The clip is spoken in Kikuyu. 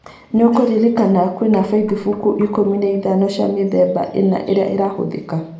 Nĩkũrerĩkana kwĩna bathimbuku ikũmi na ithano cia mĩthemba ĩna irĩa irahũthĩka